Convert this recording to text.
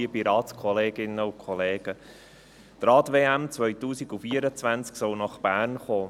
Die Rad-WM 2024 soll nach Bern kommen.